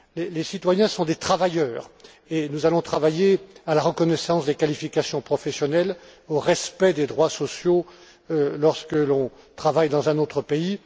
Les citoyens sont des travailleurs, et nous allons travailler à la reconnaissance des qualifications professionnelles, au respect des droits sociaux lorsque l'on travaille dans un autre pays.